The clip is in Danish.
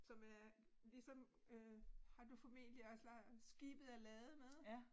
Som er ligesom øh har du formentlig også leget skibet er ladet med